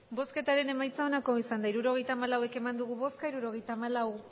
hirurogeita hamalau eman dugu bozka hirurogeita hamalau